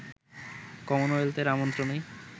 কমনওয়েলথের আমন্ত্রণেই